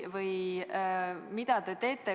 Või mida te teete?